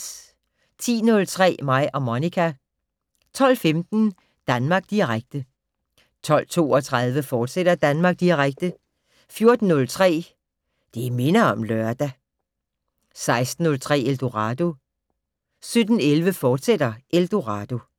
10:03: Mig og Monica 12:15: Danmark Direkte 12:32: Danmark Direkte, fortsat 14:03: Det minder om lørdag 16:03: Eldorado 17:11: Eldorado, fortsat